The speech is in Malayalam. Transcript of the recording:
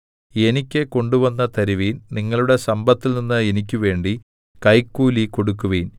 എനിയ്ക്ക് കൊണ്ടുവന്നു തരുവിൻ നിങ്ങളുടെ സമ്പത്തിൽനിന്ന് എനിക്കുവേണ്ടി കൈക്കൂലി കൊടുക്കുവിൻ